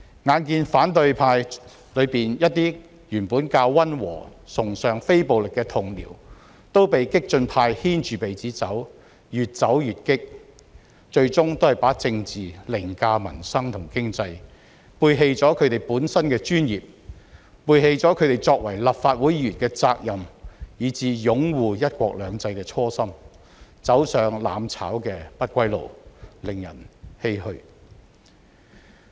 眼見反對派中一些原本較溫和、崇尚非暴力的同僚都被激進派牽着鼻子走，越走越烈，最終把政治凌駕民生和經濟，背棄了他們本身的專業，背棄了他們作為立法會議員的責任、以至擁護"一國兩制"的初心，走上"攬炒"的不歸路，令人欷歔。